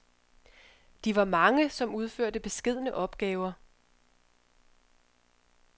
De var mange, som udførte beskedne opgaver.